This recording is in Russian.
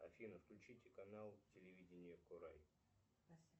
афина включите канал телевидение корай